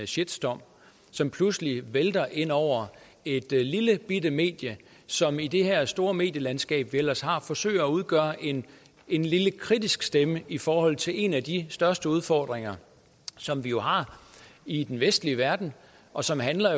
shitstorm som pludselig vælter ind over et lillebitte medie som i det her store medielandskab vi ellers har forsøger at udgøre en en lille kritisk stemme i forhold til en af de største udfordringer som vi jo har i den vestlige verden og som handler